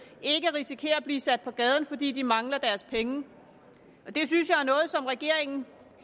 og ikke risikerer at blive sat på gaden fordi de mangler deres penge det synes jeg er noget som regeringen